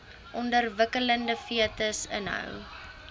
ontwikkelende fetus inhou